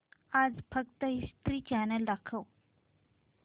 आज फक्त History Channel दाखव